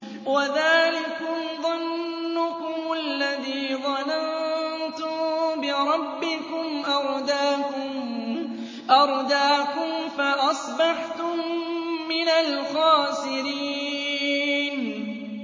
وَذَٰلِكُمْ ظَنُّكُمُ الَّذِي ظَنَنتُم بِرَبِّكُمْ أَرْدَاكُمْ فَأَصْبَحْتُم مِّنَ الْخَاسِرِينَ